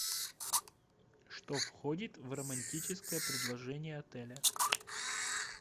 что входит в романтическое предложение отеля